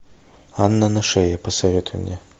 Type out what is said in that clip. анна на шее посоветуй мне